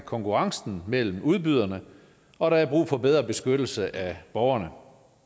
konkurrencen mellem udbyderne og der er brug for en bedre beskyttelse af borgerne